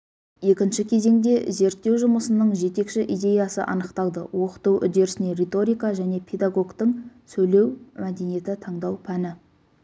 екінші кезеңде зерттеу жұмысының жетекші идеясы анықталды оқыту үдерісіне риторика және педагогтың сөйлеу мәдениеті таңдау пәні